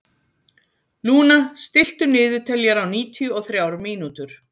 Luna, stilltu niðurteljara á níutíu og þrjár mínútur.